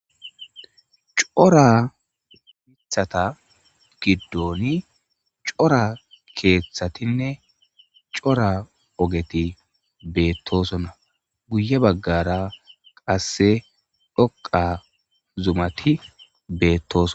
cora mithata giddoni cora keeththatinne cora ogeti beettosona guye baggara qasse dhoqa zumati beettoson